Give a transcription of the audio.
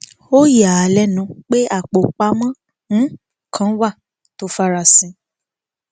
ó yà á á lẹnu pé apò pamọ um kan wà tó farasin